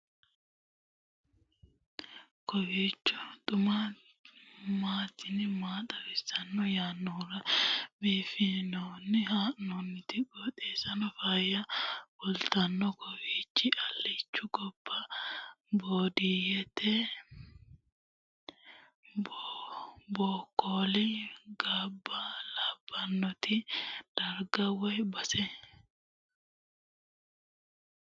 kowiicho xuma mtini maa xawissanno yaannohura biifinse haa'noonniti qooxeessano faayya kultannori kawiichi alichu gobba baadiyyeeti bokkoli gobba labbannoti darga woy base